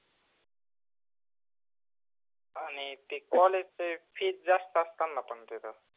आनि ते college च fees जास्त आसत न पन तेथ